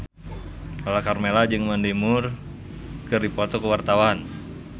Lala Karmela jeung Mandy Moore keur dipoto ku wartawan